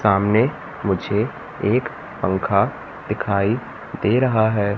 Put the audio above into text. सामने मुझे एक पंखा दिखाई दे रहा है।